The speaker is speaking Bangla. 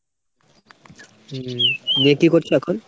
হম দিয়ে কী করছিলে এখন ?